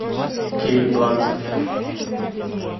кейт бланшетт